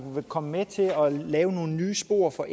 komme til at lave nogle nye spor for